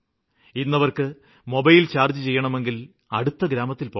ഇന്ന് അവര്ക്ക് mobile charge ചെയ്യണമെങ്കില് അടുത്ത ഗ്രാമത്തില് പോകണം